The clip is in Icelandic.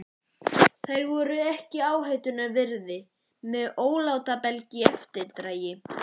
Þær voru ekki áhættunnar virði með ólátabelg í eftirdragi.